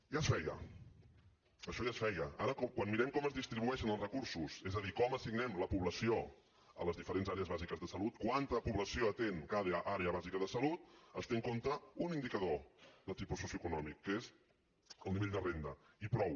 ja es feia això ja es feia ara quan mirem com es distribueixen els recursos és a dir com assignem la població a les diferents àrees bàsiques de salut quanta població atén cada àrea bàsica de salut es té en compte un indicador de tipus socioeconòmic que és el nivell de renda i prou